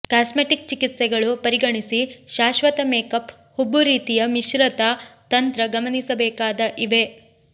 cosmetic ಚಿಕಿತ್ಸೆಗಳು ಪರಿಗಣಿಸಿ ಶಾಶ್ವತ ಮೇಕಪ್ ಹುಬ್ಬು ರೀತಿಯ ಮಿಶ್ರಿತ ತಂತ್ರ ಗಮನಿಸಬೇಕಾದ ಇವೆ